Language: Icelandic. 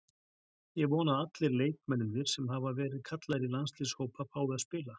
Ég vona að allir leikmennirnir sem hafa verið kallaðir í landsliðshópa fái að spila.